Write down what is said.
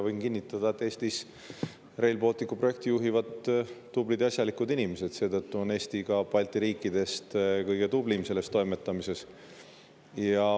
Võin kinnitada, et Eestis juhivad Rail Balticu projekti tublid ja asjalikud inimesed, seetõttu on Eesti Balti riikidest ka kõige tublim selles toimetamises.